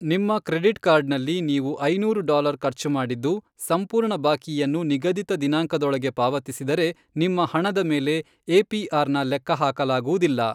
ನಿಮ್ಮ ಕ್ರೆಡಿಟ್ ಕಾರ್ಡ್ನಲ್ಲಿ ನೀವು ಐನೂರು ಡಾಲರ್ ಖರ್ಚು ಮಾಡಿದ್ದು, ಸಂಪೂರ್ಣ ಬಾಕಿಯನ್ನು ನಿಗದಿತ ದಿನಾಂಕದೊಳಗೆ ಪಾವತಿಸಿದರೆ, ನಿಮ್ಮ ಹಣದ ಮೇಲೆ ಏಪಿಆರ್ನ ಲೆಕ್ಕಹಾಕಲಾಗುವುದಿಲ್ಲ.